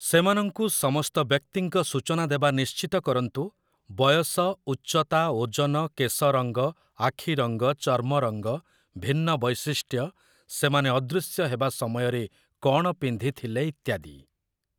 ସେମାନଙ୍କୁ ସମସ୍ତ ବ୍ୟକ୍ତିଙ୍କ ସୂଚନା ଦେବା ନିଶ୍ଚିତ କରନ୍ତୁ, ବୟସ, ଉଚ୍ଚତା, ଓଜନ, କେଶରଙ୍ଗ, ଆଖିରଙ୍ଗ, ଚର୍ମରଙ୍ଗ, ଭିନ୍ନ ବୈଶିଷ୍ଟ୍ୟ, ସେମାନେ ଅଦୃଶ୍ୟ ହେବା ସମୟରେ କ'ଣ ପିନ୍ଧିଥିଲେ ଇତ୍ୟାଦି ।